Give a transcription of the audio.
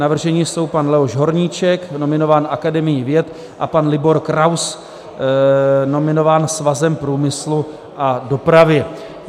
Navrženi jsou pan Leoš Horníček, nominován Akademií věd, a pan Libor Kraus, nominován Svazem průmyslu a dopravy.